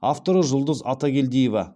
авторы жұлдыз атагельдиева